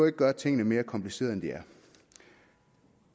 at gøre tingene mere komplicerede end de er